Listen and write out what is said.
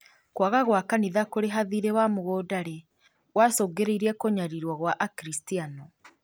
kwaga gwa kanitha kũrĩha thiirĩ wa mũgũnda rĩ gwacũngĩrĩirie kũnyarirwo gwa Akristiano